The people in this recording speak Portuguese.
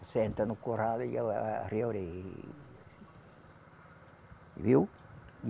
Você entra no curral e ela arreia a orelha. Viu?